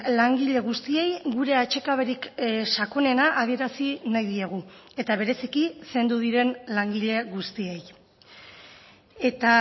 langile guztiei gure atsekaberik sakonena adierazi nahi diegu eta bereziki zendu diren langile guztiei eta